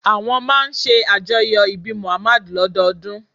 Àwọn máa ń ṣàjọyọ̀ ọjọ́ ìbí Muhammad lọ́dọọdún